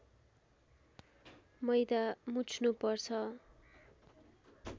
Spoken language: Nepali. मैदा मुछ्नु पर्छ